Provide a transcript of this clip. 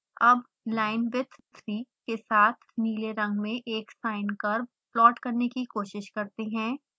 अब linewidth 3 के साथ नीले रंग में एक sine curve प्लॉट करने की कोशिश करते हैं